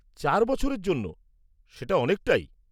চার বছরের জন্য, সেটা অনেকটাই।